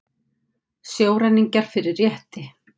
Sjóræningjar fyrir rétti